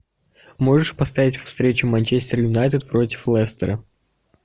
можешь поставить встречу манчестер юнайтед против лестера